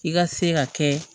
I ka se ka kɛ